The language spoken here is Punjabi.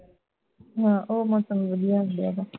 ਹਾਂ ਉਹ ਮੌਸਮ ਵਧੀਆ ਹੁੰਦਾ ਹੈ ਗਾ